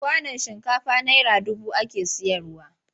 Kwanon shinkafa naira dubu ake sayarwa.